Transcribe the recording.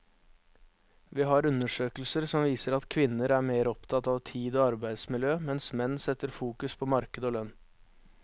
Vi har undersøkelser som viser at kvinner er mer opptatt av tid og arbeidsmiljø, mens menn setter fokus på marked og lønn.